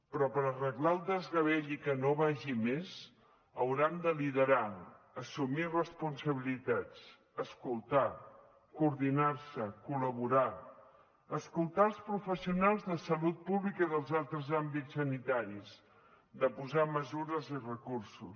però per arreglar el desgavell i que no vagi a més hauran de liderar assumir responsabilitats escoltar coordinar se col·laborar escoltar els professionals de salut pública i dels altres àmbits sanitaris de posar hi mesures i recursos